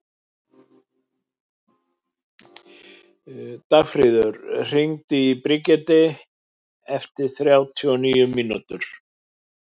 Dagfríður, hringdu í Brigiti eftir þrjátíu og níu mínútur.